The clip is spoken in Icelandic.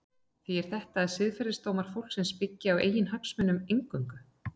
Þýðir þetta að siðferðisdómar fólks byggi á eiginhagsmunum eingöngu?